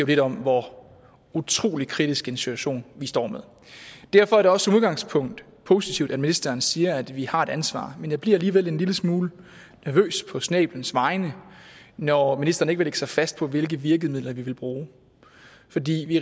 lidt om hvor utrolig kritisk en situation vi står med derfor er det også som udgangspunkt positivt at ministeren siger at vi har et ansvar men jeg bliver alligevel en lille smule nervøs på snæblens vegne når ministeren ikke vil lægge sig fast på hvilke virkemidler vi vil bruge fordi vi